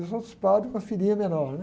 E os outros padres, uma filinha menor, né?